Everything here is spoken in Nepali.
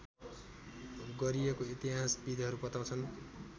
गरिएको इतिहासविदहरू बताउँछन्